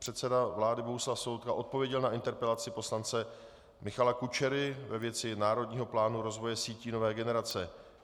Předseda vlády Bohuslav Sobotka odpověděl na interpelaci poslance Michala Kučery ve věci Národního plánu rozvoje sítí nové generace.